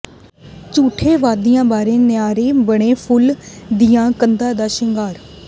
ਝੂਠੇ ਵਾਅਦਿਆਂ ਬਾਰੇ ਨਾਅਰੇ ਬਣੇ ਫੂਲ ਦੀਆਂ ਕੰਧਾਂ ਦਾ ਸ਼ਿੰਗਾਰ